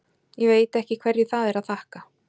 Ég veit ekki hverju það er að þakka.